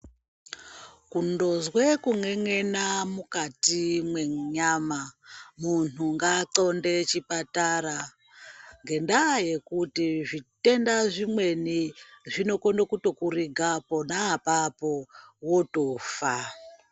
Kundozwe kun'en'ena mukati mwenyama , munhu ngaaxhondere chipatara ngendaya yekuti zvitenda zvimweni zvinokone kutokuriga pona apapo wotofa .